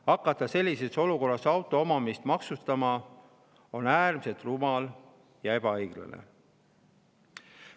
Hakata sellises olukorras auto omamist maksustama on äärmiselt rumal ja ebaõiglane.